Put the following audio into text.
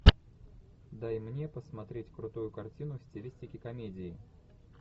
дай мне посмотреть крутую картину в стилистике комедии